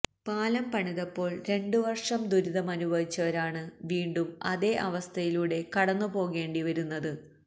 പാലം പണിതപ്പോള് രണ്ടുവര്ഷം ദുരിതമനുഭവിച്ചവരാണ് വീണ്ടും അതേ അവസ്ഥയിലൂടെ കടന്നു പോകേണ്ടി വരുന്നത്